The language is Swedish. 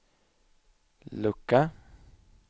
lucka